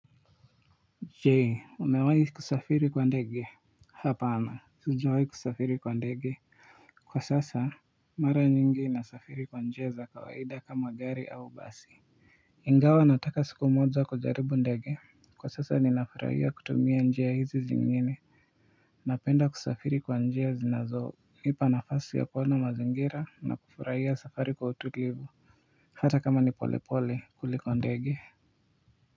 Je umewahi kusafiri kwa ndege hapa ama sijawahi kusafiri kwa ndege kwa sasa mara nyingi nasafiri kwa njia za kawaida kama gari au basi ingawa nataka siku moja kujaribu ndege kwa sasa ninafurahia kutumia njia hizi zingine napenda kusafiri kwa njia zinazonipa nafasi ya kuona mazingira na kufurahia safari kwa utulivu hata kama ni pole pole kuliko ndege.